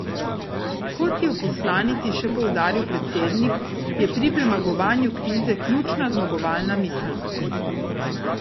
Kot je v poslanici še poudaril predsednik, je pri premagovanju krize ključna zmagovalna miselnost.